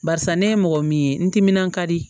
Barisa ne ye mɔgɔ min ye n timinan ka di